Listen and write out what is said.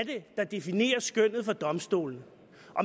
der definerer skønnet for domstolene